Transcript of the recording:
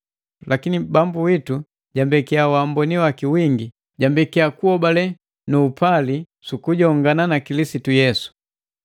Lakini Bambu witu jambeki wamboni waki wingi, jambekia hobale nu upali sukujongana na Kilisitu Yesu.